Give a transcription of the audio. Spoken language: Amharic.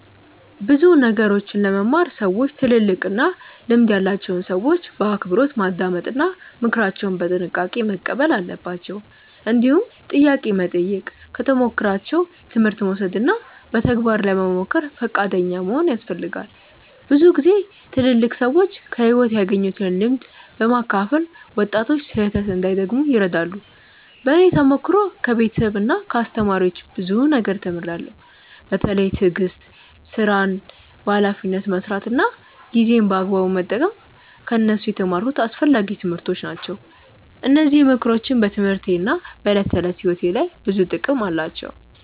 ብዙ ነገሮችን ለመማር ሰዎች ትልልቅና ልምድ ያላቸውን ሰዎች በአክብሮት ማዳመጥ እና ምክራቸውን በጥንቃቄ መቀበል አለባቸው። እንዲሁም ጥያቄ መጠየቅ፣ ከተሞክሯቸው ትምህርት መውሰድ እና በተግባር ለመሞከር ፈቃደኛ መሆን ያስፈልጋል። ብዙ ጊዜ ትልልቅ ሰዎች ከሕይወት ያገኙትን ልምድ በማካፈል ወጣቶች ስህተት እንዳይደግሙ ይረዳሉ። በእኔ ተሞክሮ ከቤተሰብና ከአስተማሪዎች ብዙ ነገር ተምሬያለሁ። በተለይ ትዕግስት፣ ሥራን በኃላፊነት መስራት እና ጊዜን በአግባቡ መጠቀም ከእነሱ የተማርኩት አስፈላጊ ትምህርቶች ናቸው። እነዚህ ምክሮች በትምህርቴና በዕለት ተዕለት ሕይወቴ ላይ ብዙ ጥቅም አላቸው።